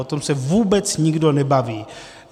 O tom se vůbec nikdo nebaví.